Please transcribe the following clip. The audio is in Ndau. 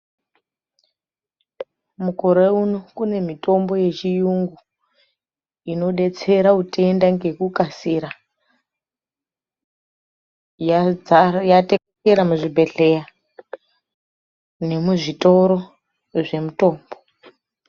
Mukore uno kune mutombo yechiyungu inodetsera utenda ngekukasira yadzara yatekeshera muzvibhedhleya nemuzvitoro zvemutombo .